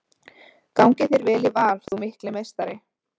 Gangi þér vel í Val þú mikli meistari!